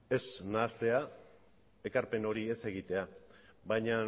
ez nahastea ekarpen hori ez egitea baina